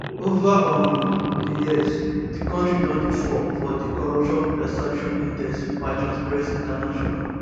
ova um di years di kontri don dey fall for di corruption perception index by transparency international